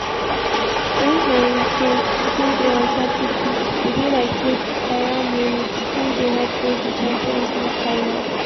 wen harry kane still dey ontop di pitch e be like say bayern munich still dey head go di champions league final.